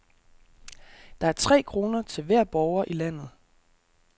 Det er tre kroner til hver borger i landet.